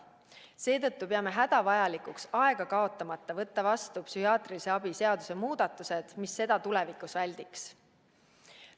Seetõttu peame hädavajalikuks aega kaotamata võtta vastu psühhiaatrilise abi seaduse muudatused, mis seda tulevikus väldiks.